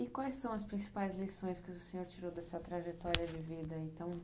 E quais são as principais lições que o senhor tirou dessa trajetória de vida aí tão